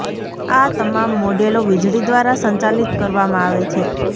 આ તમામ મોડેલો વીજળી દ્વારા સંચાલિત કરવામાં આવે છે